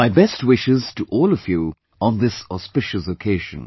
My best wishes to all of you on this auspicious occasion